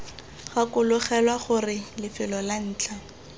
gakologelwa gore lefelo la ntlha